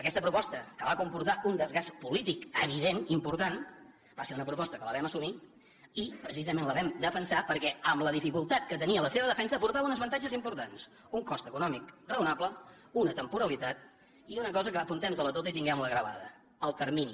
aquesta proposta que va comportar un desgast polític evident important va ser una proposta que la vam assumir i precisament la vam defensar perquè amb la dificultat que tenia la seva defensa aportava uns avantatges importants un cost econòmic raonable una temporalitat i una cosa que apuntem nos la tota i tinguem la gravada el termini